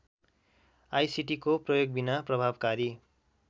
आईसीटीको प्रयोगबिना प्रभावकारी